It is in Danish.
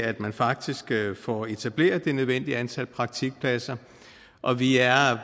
at man faktisk får etableret det nødvendige antal praktikpladser og vi er